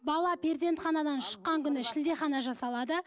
бала перзентханадан шыққан күні шілдехана жасалады